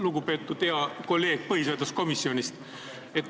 Lugupeetud hea kolleeg põhiseaduskomisjonist!